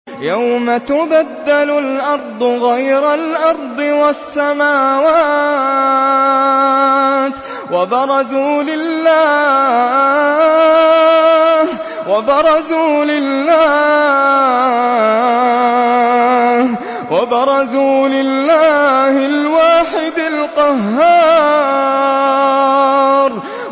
يَوْمَ تُبَدَّلُ الْأَرْضُ غَيْرَ الْأَرْضِ وَالسَّمَاوَاتُ ۖ وَبَرَزُوا لِلَّهِ الْوَاحِدِ الْقَهَّارِ